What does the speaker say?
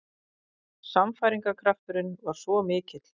Sannfæringarkrafturinn var svo mikill.